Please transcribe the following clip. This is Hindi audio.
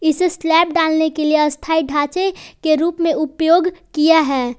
इसे स्लैप डालने के लिए अस्थाई ढांचे के रूप में उपयोग किया है।